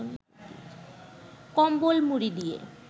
কম্বল মুড়ি দিয়ে